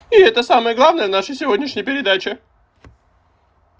и это самое главное в нашей сегодняшней передаче